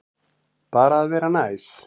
Bara að vera næs.